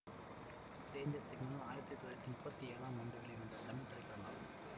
danger signal ஆயிரத்தி தொள்ளாயிரத்தி முப்பத்தி ஏழாம் ஆண்டு வெளிவந்த தமிழ் திரைப்படமாகும்